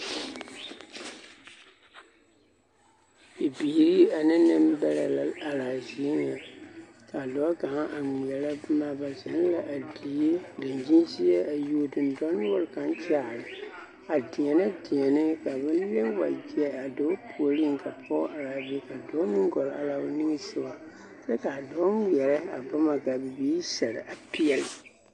Bibiiri ane nembɛrɛ la are a zie ŋa ka a dɔɔ kaŋa a ŋmeɛrɛ boma ba zeŋ la a die dankyini seɛ a yuo dendɔnoɔre kaŋ kyaare a deɛnɛ deɛne ba wa leŋ wagyɛ a dɔɔ puoriŋ ka pɔge are a be ka dɔɔ meŋ gɔlle are a o nige soga kyɛ ka a dɔɔ ŋmeɛrɛ a bona ka bibiiri seɛrɛ a peɛle.